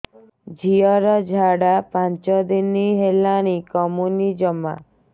ଝିଅର ଝାଡା ପାଞ୍ଚ ଦିନ ହେଲାଣି କମୁନି ଜମା